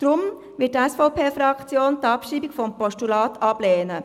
Deshalb wird die SVP-Fraktion die Abschreibung des Postulats ablehnen.